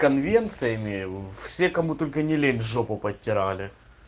конвенциями все кому только не лень жопу подтирали